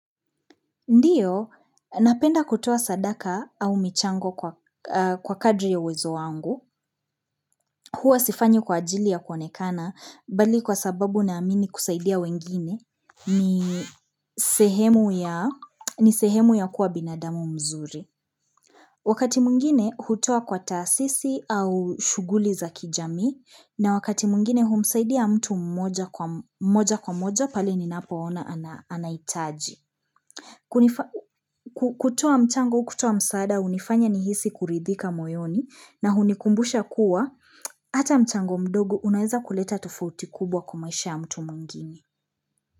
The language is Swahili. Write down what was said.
Ndio, napenda kutoa sadaka au michango kwa kadri ya uwezo wangu, huwa sifanyi kwa ajili ya kuonekana, bali kwa sababu naamini kusaidia wengine, ni sehemu ya kuwa binadamu mzuri. Wakati mwingine, hutoa kwa tasisi au shughuli za kijamii, na wakati mwingine, humsaidia mtu moja kwa moja, pahali ninapoona anahitaji. Kutoa mchango kutoa msaada hunifanya nihisi kuridhika moyoni na hunikumbusha kuwa Ata mchango mdogo unaeza kuleta tofauti kubwa kwa maisha ya mtu mwingine.